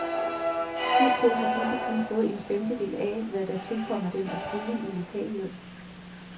Hidtil har disse kun fået en femtedel af, hvad der tilkommer dem af puljen til lokalløn.